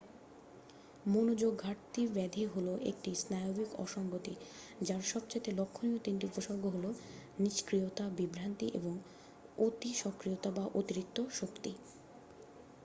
মনোযোগ ঘাটতি ব্যাধি হলো একটি স্নায়ুবিক অসঙ্গতি যার সবচেয়ে লক্ষণীয় তিনটি উপসর্গ হলো নিষ্ক্রিয়তা বিভ্রান্তি এবং অতিসক্রিয়তা বা অতিরিক্ত শক্তি